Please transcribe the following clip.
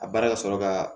A baara ka sɔrɔ ka